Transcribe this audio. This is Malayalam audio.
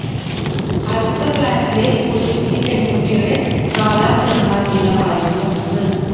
അടുത്ത ഫ്ലാറ്റിലെ കുസൃതി പെൺകുട്ടിയുടെ നാലാം പിറന്നാൾ ദിനമായിരുന്നു അന്ന്